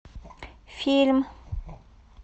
фильм